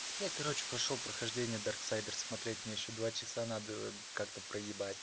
я короче пошёл прохождение дарксайдерс смотреть мне ещё два часа надо как-то проебать